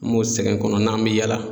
N b'o sɛgɛn kɔnɔ n'an bɛ yaala.